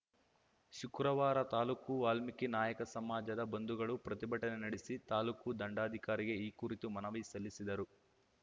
ಶುಕ್ರವಾರ ತಾಲೂಕು ವಾಲ್ಮೀಕಿ ನಾಯಕ ಸಮಾಜದ ಬಂಧುಗಳು ಪ್ರತಿಭಟನೆ ನಡೆಸಿ ತಾಲೂಕು ದಂಡಾಧಿಕಾರಿಗೆ ಈ ಕುರಿತು ಮನವಿ ಸಲ್ಲಿಸಿದರು